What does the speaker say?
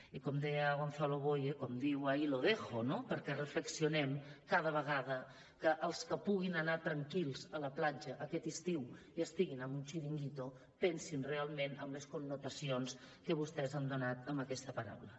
i com deia gonzalo boye com diu ahí lo dejo no perquè reflexionem cada vegada que els que puguin anar tranquils a la platja aquest estiu i estiguin en un chiringuito pensin realment en les connotacions que vostès han donat a aquesta paraula